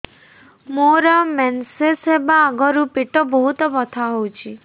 ମୋର ମେନ୍ସେସ ହବା ଆଗରୁ ପେଟ ବହୁତ ବଥା ହଉଚି